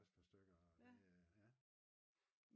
også et par stykker det er ja